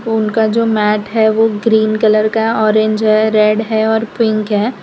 उनका जो मैट है वो ग्रीन कलर का ऑरेंज है रेड है और पिक है।